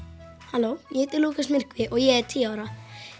halló ég heiti Lúkas myrkvi og ég er tíu ára